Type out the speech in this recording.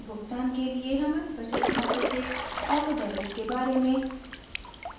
और वार्षिक प्रीमियम के भुगतान के लिए हमारे बचत खाते से ऑटोडेबिट के बारे में